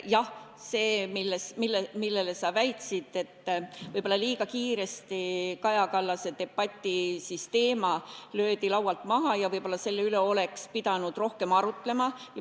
Alustan sellest, mida sa väitsid, et Kaja Kallase debati teema löödi liiga kiiresti laualt maha ja võib-olla oleks pidanud selle üle rohkem arutlema.